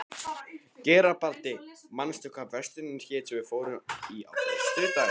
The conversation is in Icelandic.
Garibaldi, manstu hvað verslunin hét sem við fórum í á föstudaginn?